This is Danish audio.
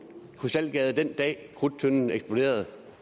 i krystalgade den dag krudttønden eksploderede